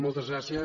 moltes gràcies